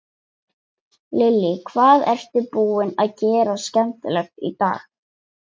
Lillý: Hvað ertu búinn að gera skemmtilegt í dag?